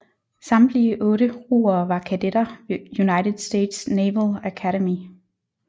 Samtlige otte roere var kadetter ved United States Naval Academy